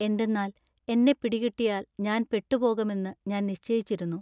എന്തെന്നാൽ എന്നെ പിടികിട്ടിയാൽ ഞാൻ പെട്ടുപോകമെന്നു ഞാൻ നിശ്ചയിച്ചിരുന്നു.